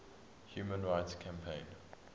human rights campaign